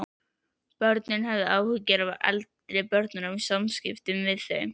Börnin höfðu áhyggjur af eldri börnum og samskiptum við þau.